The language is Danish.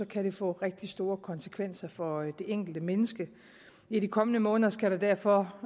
kan det få rigtig store konsekvenser for det enkelte menneske i de kommende måneder skal der derfor